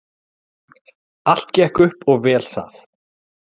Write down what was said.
Allt gekk upp og vel það.